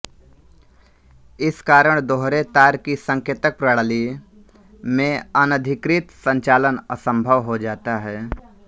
इस कारण दोहरे तार की संकेतक प्रणाली में अनधिकृत संचालन असंभव हो जाता है